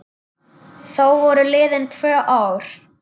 Þá voru liðin tvö ár.